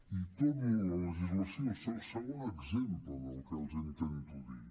i torno a la legislació segon exemple del que intento dir